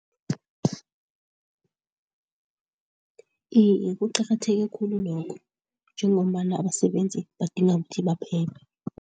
Iye kuqakatheke khulu lokho njengombana abasebenzi badinga ukuthi baphephe.